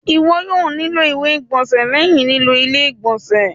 Iwọ yoo nilo iwe igbọnsẹ lẹhin lilo ile-igbọnsẹ.